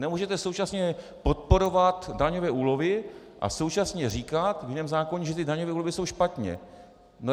Nemůžete současně podporovat daňové úlevy a současně říkat v jiném zákoně, že ty daňové úlevy jsou špatně.